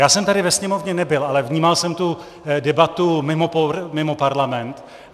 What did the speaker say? Já jsem tady ve Sněmovně nebyl, ale vnímal jsem tu debatu mimo parlament.